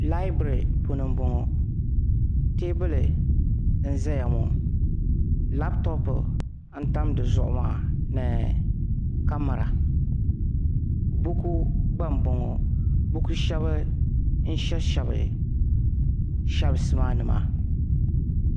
laibiri puuni n bɔŋɔ teebuli n ʒɛya ŋɔ labtoopu n tam dizuɣu maa ni kamɛra buku gba n bɔŋɔ dini n shɛbi shɛbi sheels maa ni maa